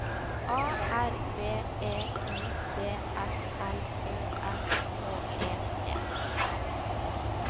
A R B E I D S L Ø S H E T